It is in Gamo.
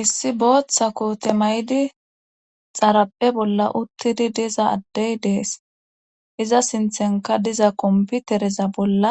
issi booththa koote maydi xaraphe bolla uttidi diza addey dees iza sinthenka diza komputereza bolla